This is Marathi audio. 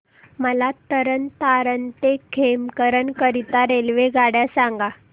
मला तरण तारण ते खेमकरन करीता रेल्वेगाड्या सांगा